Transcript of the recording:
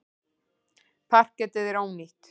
Parketið er ónýtt.